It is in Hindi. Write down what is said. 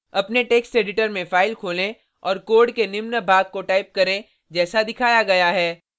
अपने टेक्स्ट एडिटर में फाइल खोलें और कोड के निम्न भाग को टाइप करें जैसा दिखाया गया है